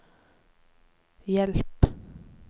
hjelp